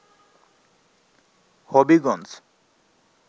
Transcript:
Habiganj